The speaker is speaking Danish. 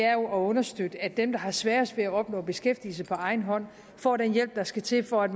er at understøtte at dem der har sværest ved at opnå beskæftigelse på egen hånd får den hjælp der skal til for at